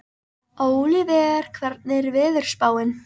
Ólíver, hvernig er veðurspáin?